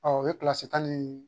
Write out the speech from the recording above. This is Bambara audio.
o ye tan ni